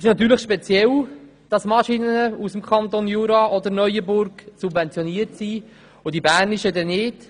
Es ist natürlich speziell, dass Maschinen aus dem Kanton Jura oder Neuenburg subventioniert werden, die bernischen hingegen nicht.